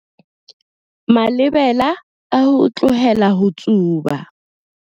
Malebela a ho tlohela ho tsuba.